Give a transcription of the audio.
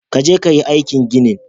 Ka je ka yi aikin ginin.